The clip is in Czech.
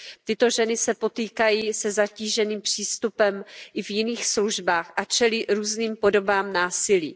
Tyto ženy se potýkají se zatíženým přístupem i v jiných službách a čelí různým podobám násilí.